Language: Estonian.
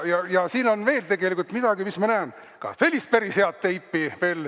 Ja siin on veel, nagu ma näen, ka sellist päris head teipi.